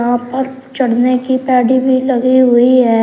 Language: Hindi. चढ़ने की पैडी भी लगी हुई है।